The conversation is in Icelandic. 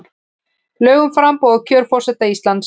Lög um framboð og kjör forseta Íslands.